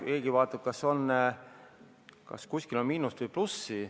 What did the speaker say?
Keegi vaatab, kas kuskil on miinust või plussi.